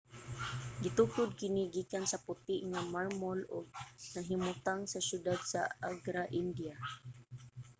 gitukod kini gikan sa puti nga marmol ug nahimutang sa syudad sa agra india